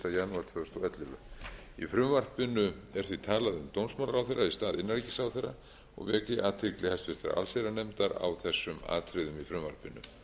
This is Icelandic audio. frumvarpinu er því talað um dómsmálaráðherra í stað innanríkisráðherra og vek ég athygli háttvirtrar allsherjarnefndar á þessum atriðum í frumvarpinu